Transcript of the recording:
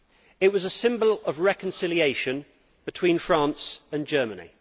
It was a symbol of reconciliation between France and Germany.